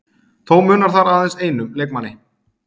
Þó munar þar aðeins einum leikmanni